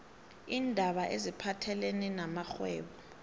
iindaba eziphathelene namrhwebo